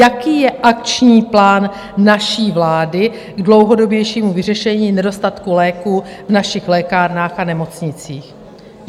Jaký je akční plán naší vlády k dlouhodobějšímu vyřešení nedostatku léků v našich lékárnách a nemocnicích?